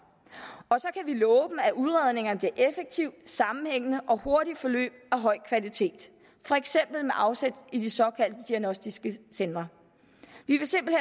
og så kan vi love dem at udredningerne bliver effektive sammenhængende og hurtige forløb af høj kvalitet for eksempel med afsæt i de såkaldte diagnostiske centre vi vil simpelt